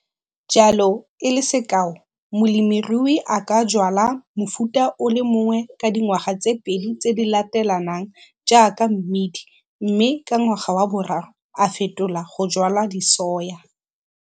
Jalo, e le sekao, molemirui a ka jwala mofuta o le mongwe ka dingwaga tse pedi tse di latelanang jaaka mmidi mme ka ngwaga wa boraro a fetola go jwala disoya.